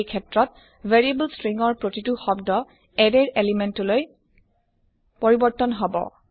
এই ক্ষেত্ৰত variable string ৰ প্ৰতিটো শব্দ এৰে ৰ এলিমেন্ট লৈ পৰিবৰ্ত্তন হব